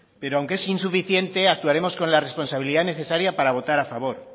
pero aunque es insuficiente actuaremos con la responsabilidad necesaria para votar a favor